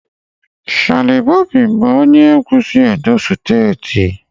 Shallipopi bụ onye egwu si Edo steeti.